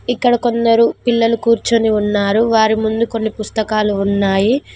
ఇక్కడ కొందరు పిల్లలు కూర్చుని ఉన్నారు వారి ముందు కొన్ని పుస్తకాలు ఉన్నాయి.